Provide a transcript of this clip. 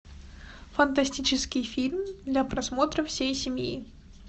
фантастический фильм для просмотра всей семьи